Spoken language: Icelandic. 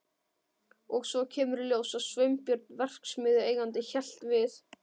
Og svo kemur í ljós að Sveinbjörn verksmiðjueigandi hélt við